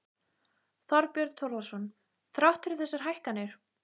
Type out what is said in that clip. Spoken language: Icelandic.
Þorbjörn Þórðarson: Þrátt fyrir þessar hækkanir?